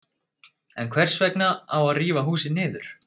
En hvers vegna á að rífa húsið niður?